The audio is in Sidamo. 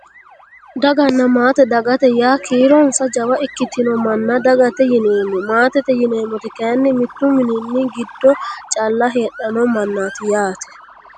Daganna maate dagate yaa kiironsa jawa ikkitino manna dagate yineemmo maatete yineemmoti kayinni mittu mmini giddoo calla heedhanno mannaati yyaate